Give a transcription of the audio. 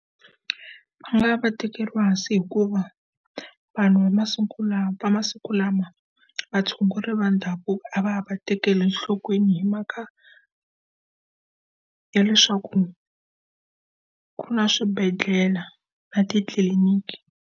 Va nga va tekeriwa hansi hikuva, vanhu va va masiku lama, vatshunguri va ndhavuko a va ha va tekeli enhlokweni hi mhaka ya leswaku, ku na swibedhlele na titliliniki.